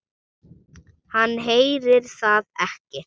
Hann heyrir það ekki.